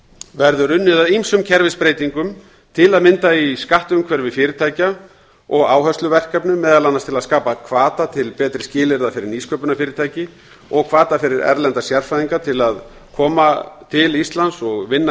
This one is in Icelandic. verður unnið að ýmsum kerfisbreytingum til að mynda í skattumhverfi fyrirtækja og áhersluverkefnum meðal annars til að skapa hvata til betri skilyrða fyrir nýsköpunarfyrirtæki og hvata fyrir erlenda sérfræðinga til að koma til íslands og vinna